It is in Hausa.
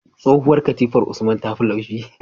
Tsohuwar katifar usman tafi laushi